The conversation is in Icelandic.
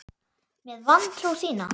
Með vantrú þína.